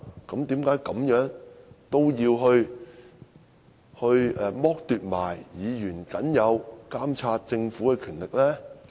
為何也要剝奪議員僅有監察政府的權力呢？